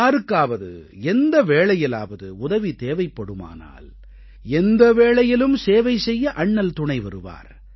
யாருக்காவது எந்த வேளையிலாவது உதவி தேவைப்படுமானால் எந்த வேளையிலும் சேவை செய்ய அண்ணல் துணைவருவார்